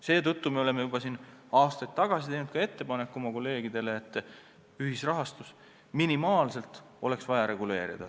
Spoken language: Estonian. Seetõttu me oleme juba aastaid tagasi teinud oma kolleegidele ettepaneku, et ühisrahastust tuleks minimaalselt reguleerida.